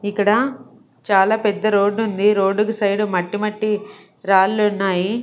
ఇక్కడ చాలా పెద్ద రోడ్డు ఉంది రోడ్డు కి సైడ్ మట్టి మట్టి రాళ్ళు ఉన్నాయి.